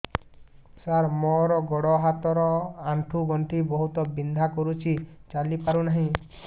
ସାର ମୋର ଗୋଡ ହାତ ର ଆଣ୍ଠୁ ଗଣ୍ଠି ବହୁତ ବିନ୍ଧା କରୁଛି ଚାଲି ପାରୁନାହିଁ